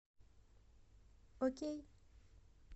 окей